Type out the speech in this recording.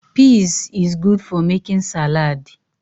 Pizs is good for making salaadi.